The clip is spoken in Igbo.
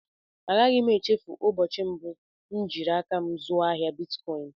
A gaghị m échéfu ụbọchị mbụ m jiri áká m zuo ahịa bịtkọin